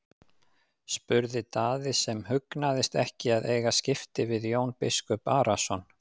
spurði Daði sem hugnaðist ekki að eiga skipti við Jón biskup Arason.